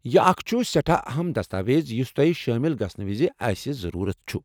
یہِ اكھ چُھ سیٹھاہ اہم دستاویز یُس تۄہہ شٲمل گژھنہٕ وزِ اسہِ ضرورت چُھ۔